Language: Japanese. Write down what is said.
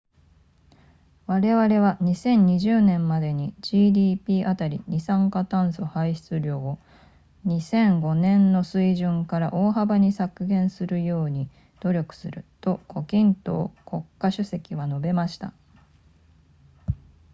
我々は2020年までに gdp あたりの二酸化炭素排出量を2005年の水準から大幅に削減するように努力すると胡錦濤国家主席は述べました